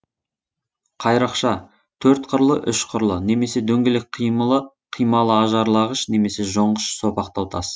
қайрақша төрт қырлы үш қырлы немесе дөңгелек қималы ажарлағыш немесе жонғыш сопақтау тас